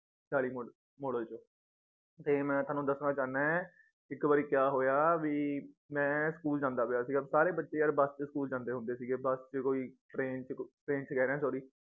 ਚਾਲੀ ਕ model model ਚ ਤੇ ਮੈ ਤੁਹਾਨੂੰ ਦੱਸਣਾ ਚਾਹੁੰਨਾ ਏ ਇੱਕ ਵਾਰੀ ਕਯਾ ਹੋਇਆ ਵੀ ਮੈ ਸਕੂਲ ਜਾਂਦਾ ਪਿਆ ਸੀਗਾ ਸਾਰੇ ਬੱਚੇ ਯਾਰ ਬਸ ਚ ਸਕੂਲ ਜਾਂਦੇ ਹੁੰਦੇ ਸੀਗੇ ਬਸ ਚ ਕੋਈ ਟ੍ਰੇਨ ਚ ਕ ਟ੍ਰੇਨ ਕਹਿ ਰਿਹਾਂ sorry